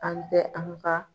An tɛ an ka